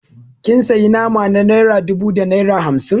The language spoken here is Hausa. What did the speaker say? Kin sayi nama na naira dubu da naira hamsin